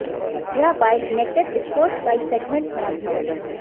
यह bike naked sports bike segment में आती है